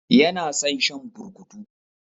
Ya na son shan burkutu.